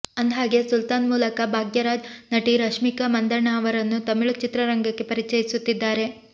ಅಂದ್ಹಾಗೆ ಸುಲ್ತಾನ್ ಮೂಲಕ ಭಾಗ್ಯರಾಜ್ ನಟಿ ರಶ್ಮಿಕಾ ಮಂದಣ್ಣ ಅವರನ್ನು ತಮಿಳು ಚಿತ್ರರಂಗಕ್ಕೆ ಪರಿಚಯಿಸುತ್ತಿದ್ದಾರೆ